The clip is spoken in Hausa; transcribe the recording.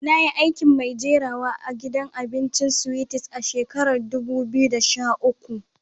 Na yi aikin mai jirawa a'gidan abincin Sweeties a shakaran dubu biyu da sha uku.